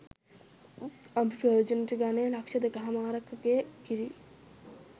අපි ප්‍රයෝජනයට ගන්නේ ලක්‍ෂ දෙකහමාරකගේ කිරියි.